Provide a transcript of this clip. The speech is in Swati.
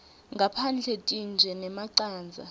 ngaphandle tintje nemacandza